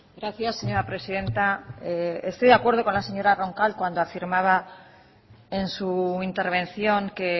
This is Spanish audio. gracias señora presidenta estoy de acuerdo con la señora roncal cuando afirmaba en su intervención que